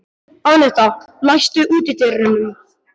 Annetta, læstu útidyrunum.